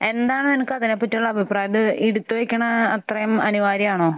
എന്താണ് നിനക്ക് അതിനെ പറ്റിയുള്ള അഭിപ്രായം? അത് എടുത്ത് വെക്കുന്നത് അത്രയും അനിവാര്യമാണോ?